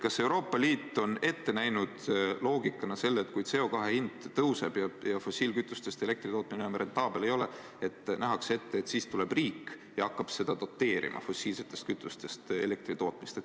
Kas Euroopa Liit on loogikana ette näinud selle, et kui CO2 hind tõuseb ja fossiilkütustest elektri tootmine enam rentaabel ei ole, siis tuleb riik ja hakkab doteerima fossiilsetest kütustest elektri tootmist?